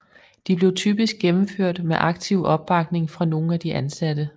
De blev typisk gennemført med aktiv opbakning fra nogen af de ansatte